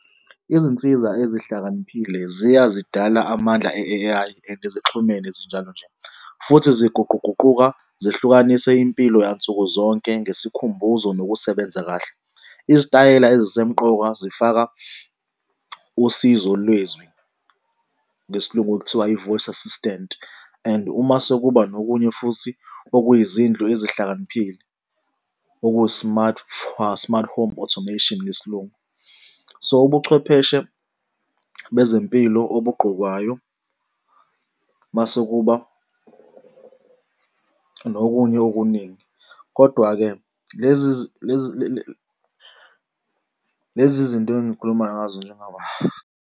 Izinsiza ezihlakaniphile ziya zidala amandla e-A_I and zixhumene zinjalo nje. Futhi ziguquguquka, zihlukanise impilo yansuku zonke ngesikhumbuzo nokusebenza kahle. Izitayela ezisemqoka zifaka usizo lwezwi ngesiLungu kuthiwa i-voice assistant and uma sekuba nokunye futhi okuyizindlu ezihlakaniphile okuyi-smart smart home automation ngesiLungu. So, ubuchwepheshe bezempilo obugqokwayo mase kuba nokunye okuningi. Kodwa-ke, lezi lezi zinto engikhulumayo ngazo .